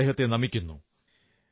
ഞാൻ അദ്ദേഹത്തെ നമിക്കുന്നു